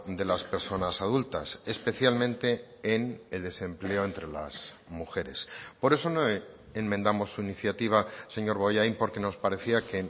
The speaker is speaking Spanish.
de las personas adultas especialmente en el desempleo entre las mujeres por eso no enmendamos su iniciativa señor bollain porque nos parecía que